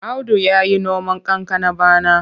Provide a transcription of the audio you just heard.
Audu ya yi noman kankana bana.